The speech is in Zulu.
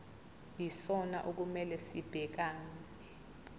yisona okumele sibhekane